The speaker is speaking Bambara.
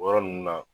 O yɔrɔ ninnu na